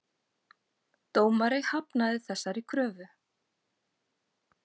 Dómari hafnaði þessari kröfu